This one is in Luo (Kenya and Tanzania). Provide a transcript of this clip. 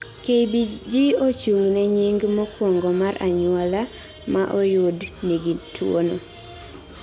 KBG ochung' ne nying mokuongo mar anyuola maoyud nigi tuono